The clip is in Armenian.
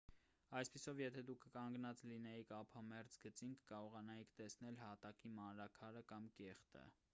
այսպիսով եթե դուք կանգնած լինեիք ափամերձ գծին կկարողանայիք տեսնել հատակի մանրաքարը կամ կեղտը